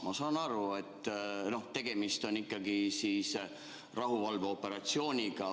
Ma saan aru, et tegemist on ikkagi rahuvalveoperatsiooniga.